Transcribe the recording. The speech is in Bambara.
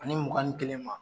Ani mugan ni kelen ma